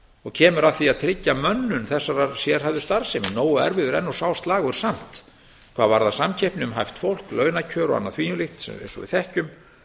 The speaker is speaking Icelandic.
og kemur að því að tryggja mönnun þessarar starfssemi nógu erfiður er nú sá slagur samt hvað varðar samkeppni um hæft fólk launakjör og annað því um líkt eins og við þekkjum